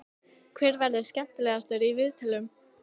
Hver verður skemmtilegastur í viðtölum?